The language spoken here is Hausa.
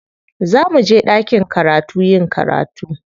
Za muje ɗakin karatu yin karatu.